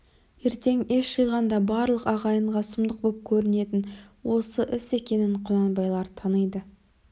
ертең ес жиғанда барлық ағайынға сұмдық боп көрінетін іс осы екенін құнанбайлар таниды